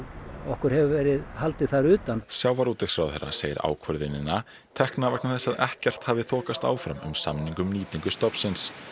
okkur hefur verið haldið þar utan sjávarútvegsráðherra segir ákvörðunina tekna vegna þess að ekkert hafi þokast áfram um samning um nýtingu stofnsins